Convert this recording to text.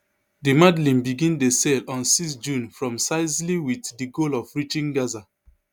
the madleen begin dey sail on six june from sicily wit di goal of reaching gaza